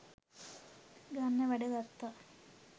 ගන්න වැඩ ගත්තා